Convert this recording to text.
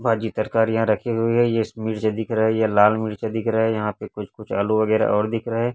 भाजी तरकारी यहाँ रखी हुई है इस मिर्चा दिख रहा है ये लाल मिर्चा दिख रहा है यहाँ पे कुछ- कुछ आलू वगैरह और दिख रहा हैं।